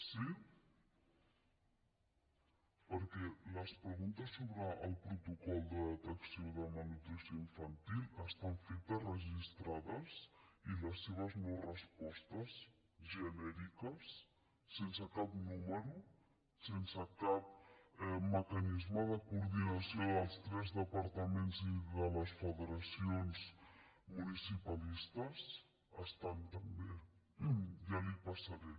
sí perquè les preguntes sobre el protocol de detecció de malnutrició infantil estan fetes registrades i les seves norespostes genèriques sense cap número sense cap mecanisme de coordinació dels tres departaments i de les federacions municipalistes estan també ja les hi passaré